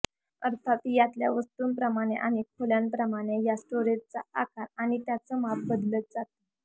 अर्थात यातल्या वस्तुंप्रमाणे आणि खोल्यांप्रमाणे या स्टोरेजचा आकार आणि त्याचं माप बदलत जातं